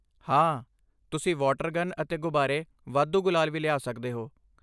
ਹਾਂ, ਤੁਸੀਂ water gun ਅਤੇ ਗੁਬਾਰੇ, ਵਾਧੂ ਗੁਲਾਲ ਵੀ ਲਿਆ ਸਕਦੇ ਹੋ।